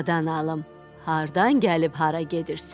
Qadan alım, hardan gəlib hara gedirsən?